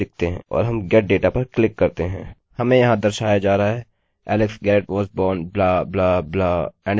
चलिए dale garrett type करते हैं और get data पर क्लिक करते हैं और हमें डेटाबेस से यह जानकारी मिल गयी